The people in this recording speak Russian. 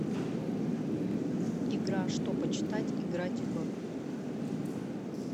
игра что почитать играть в